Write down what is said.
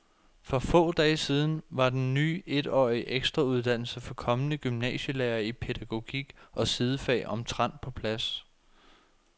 For få dage siden var den ny etårige ekstrauddannelse for kommende gymnasielærere i pædagogik og sidefag omtrent på plads.